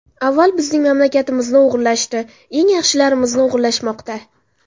Avval bizning mamlakatimizni o‘g‘irlashdi, eng yaxshilarimizni o‘g‘irlashmoqda.